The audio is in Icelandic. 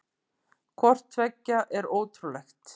Hvort tveggja er ótrúlegt.